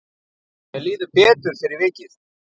Mér líður betur fyrir vikið.